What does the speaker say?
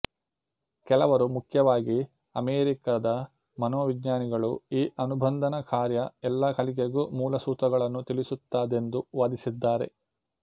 ಕೆಲವರು ಮುಖ್ಯವಾಗಿ ಅಮೆರಿಕದ ಮನೋವಿಜ್ಞಾನಿಗಳು ಈ ಅನುಬಂಧನ ಕಾರ್ಯ ಎಲ್ಲ ಕಲಿಕೆಗೂ ಮೂಲ ಸೂತ್ರಗಳನ್ನು ತಿಳಿಸುತ್ತದೆಂದು ವಾದಿಸಿದ್ದಾರೆ